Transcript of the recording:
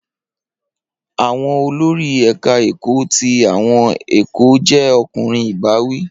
Awọn olori eka eko ti awọn ẹkọ jẹ ọkunrin ibawi